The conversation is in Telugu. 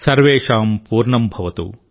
సర్వేషాం పూర్ణంభవతు